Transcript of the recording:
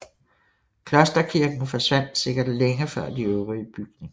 Klosterkirken forsvandt sikkert længe før de øvrige bygninger